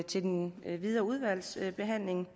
til den videre udvalgsbehandling